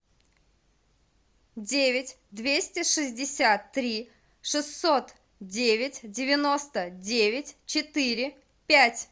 девять двести шестьдесят три шестьсот девять девяносто девять четыре пять